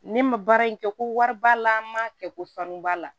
Ne ma baara in kɛ ko wari b'a la n ma kɛ ko sanu b'a la